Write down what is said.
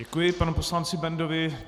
Děkuji panu poslanci Bendovi.